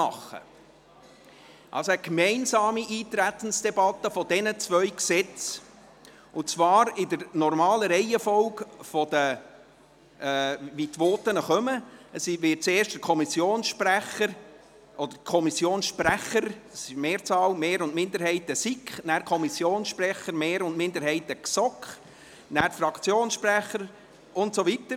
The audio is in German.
Wir werden eine gemeinsame Eintretensdebatte für diese beiden Gesetze durchführen und die normale Reihenfolge der Voten beachten, das heisst, es werden zuerst die Sprecher der Kommissionsmehrheit und der Kommissionsminderheit der SiK sprechen, und danach die Sprecher der Mehrheit und der Minderheit der GSoK. Danach folgen die Fraktionssprecher, und so weiter.